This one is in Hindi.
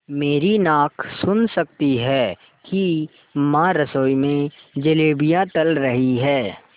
मेरी नाक सुन सकती है कि माँ रसोई में जलेबियाँ तल रही हैं